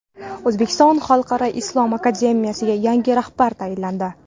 O‘zbekiston xalqaro islom akademiyasiga yangi rahbar tayinlandi.